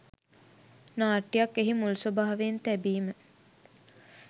නාට්‍යයක් එහි මුල් ස්වභාවයෙන් තැබීම.